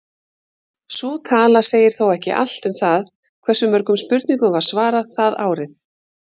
Sú tala segir þó ekki allt um það hversu mörgum spurningum var svarað það árið.